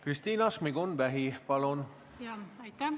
Kristina Šmigun-Vähi, palun!